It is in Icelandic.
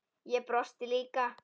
Ég brosti líka.